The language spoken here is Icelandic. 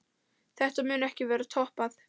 Þetta mun ekki verða toppað.